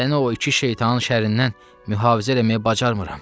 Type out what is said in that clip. Səni o iki şeytanın şərrindən mühafizə eləməyə bacarmıram.